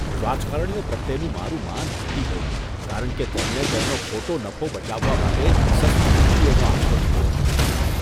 રાજકારણીઓ પ્રત્યેનું મારું માન ઘટી ગયું કારણ કે તેમણે તેમનો ખોટો નફો બચાવવા માટે સસ્તી યુક્તિઓનો આશરો લીધો હતો.